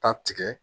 Ka tigɛ